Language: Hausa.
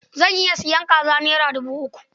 Zan iya sayan kazar naira dubu uku.